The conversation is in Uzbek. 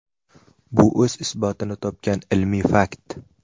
Bu o‘z isbotini topgan ilmiy fakt.